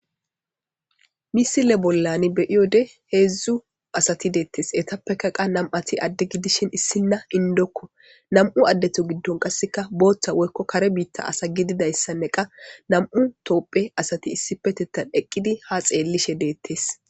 misile bollani be'iyode heedzdzu asati deettes etappeka qa nam'ati adde gidishin issinna indokko nam7u addeto giddon qasseka booththa woykko kare biitta asa gididayssanne qa nam'u toopphe asati issipetettan eqqidi ha xeellishe deettes